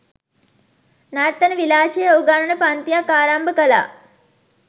නර්තන විලාශය උගන්වන පංතියක් ආරම්භ කළා